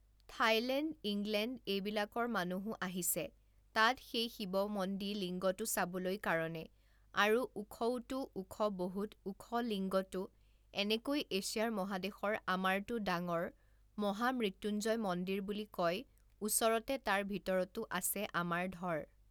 Thailand, England এইবিলাকৰ মানুহো আহিছে তাত সেই শিৱ মন্দি লিংগটো চাবলৈ কাৰণে আৰু ওখওতো ওখ বহুত ওখ লিংগটো এনেকৈ এছিয়াৰ মহাদেশৰ আমাৰটো ডাঙৰ মহামৃত্যুঞ্জয় মন্দিৰ বুলি কয় ওচৰতে তাৰ ভিতৰতো আছে আমাৰ ধৰ